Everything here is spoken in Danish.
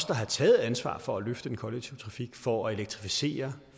der har taget ansvaret for at løfte den kollektive trafik for at elektrificere